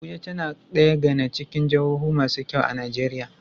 Abuja tAna daya gAna cikin jahohu masu kyau a nigeria